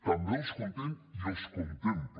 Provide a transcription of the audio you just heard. també els conté i els contempla